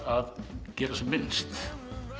að gera sem minnst